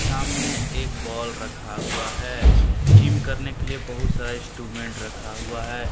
सामने एक बॉल रखा हुआ है जिम करने के लिए बहुत सारे इंस्ट्रूमेंट रखा हुआ है।